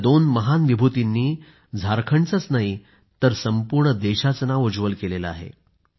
या दोन महान विभूतींनी झारखंडचंच नाही तर संपूर्ण देशाचं नाव उज्ज्वल केलं आहे